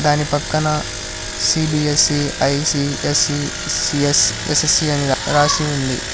దాని పక్కన C B S A I C S C C S S S C అని రాసి ఉంది.